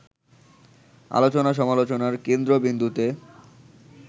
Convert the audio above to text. আলোচনা-সমালোচনার কেন্দ্রবিন্দুতে